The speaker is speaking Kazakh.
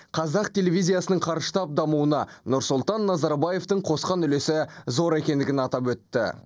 қазақ телевизиясының қарыштап дамуына нұрсұлтан назарбаевтың қосқан үлесі зор екендігін атап өтті